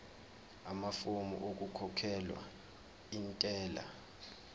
amafomu okukhokhela intela